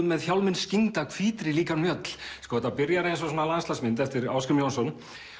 með hjálminn skyggnda hvítri líkan mjöll sko þetta byrjar eins og landslagsmynd eftir Ásgrím Jónsson